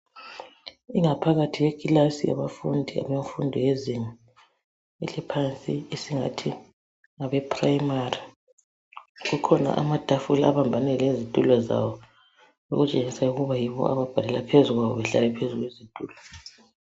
Ingaphakathi yekilasi yabafundi bemfundo yezinga eliphansi esingathi ngabe primary. Kukhona amatafula abambane lezitulo zawo ,okutshengisa ukuba yiwo ababhalela phezu kwawo behlezi phezu kwezitulo.